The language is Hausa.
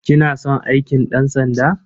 Kina son aikin ɗansanda?